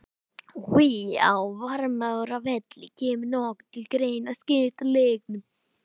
Á Varmárvelli Kemur nokkuð til greina að skipta leiknum?